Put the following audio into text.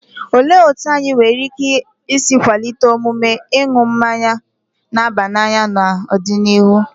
Olee otú anyị nwere ike isi kwalite omume ịṅụ mmanya na-aba n'anya n'ọdịnihu?